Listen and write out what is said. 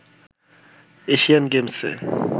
Asian গেমসে